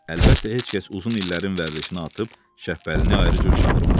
Əlbəttə, heç kəs uzun illərin vərdişini atıb Şəbbəlini ayrı cür çağırmadı.